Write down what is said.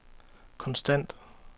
konstant